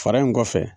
Fara in kɔfɛ